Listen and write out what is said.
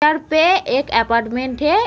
पे एक अप्पार्टमेन्ट है।